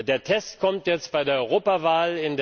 Der Test kommt jetzt bei der Europawahl.